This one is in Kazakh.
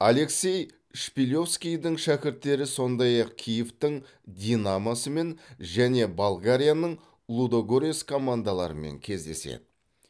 алексей шпилевскийдің шәкірттері сондай ақ киевтің динамосымен және болгарияның лудогорец командаларымен кездеседі